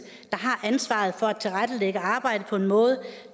har ansvaret for at tilrettelægge arbejdet på en måde